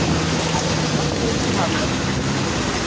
Markalaust í hálfleik.